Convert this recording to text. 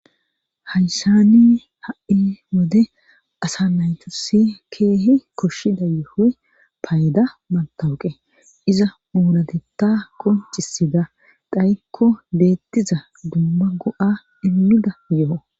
Haysani ha'i wode asa naytosi keehi koshshida yohoy payda mantawuqe iza muuratetta qoncisida dhayikko beettiza dumma go7a immida yo'o.